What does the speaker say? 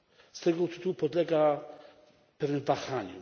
Z tego tytułu podlega pewnym wahaniom.